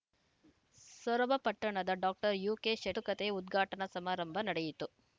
ಸೊರಬ ಪಟ್ಟಣದ ಡಾಕ್ಟರ್ ಯುಕೆಶತುಕತೆ ಉದ್ಘಾಟನಾ ಸಮಾರಂಭ ನಡೆಯಿತು